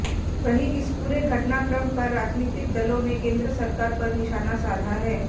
वहीं इस पूरे घटनाक्रम पर राजनीतिक दलों ने केंद्र सरकार पर निशाना साधा है